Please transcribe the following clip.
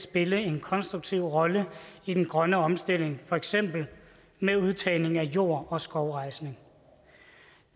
spille en konstruktiv rolle i den grønne omstilling for eksempel med udtagning af jord og skovrejsning